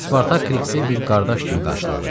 Spartak Kriksi bir qardaş kimi qarşıladı.